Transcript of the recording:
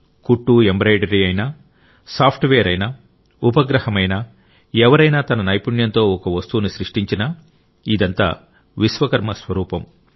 కుట్టుఎంబ్రాయిడరీ అయినా సాఫ్ట్వేర్ అయినా ఉపగ్రహమైనా ఎవరైనా తన నైపుణ్యంతో ఒక వస్తువును సృష్టించినా ఇదంతా విశ్వకర్మ స్వరూపం